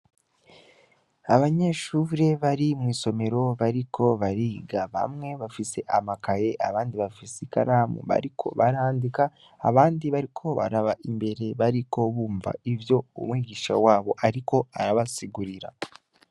Abanyeshure bari mw'isomero bariko bariga, bamwe bafise amakaye abandi bafise ikaramu bariko barandika, abandi bariko baraba imbere bariko barumva ivyo umwigisha wabo ariko arabasigurira.